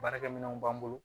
Baarakɛminɛnw b'an bolo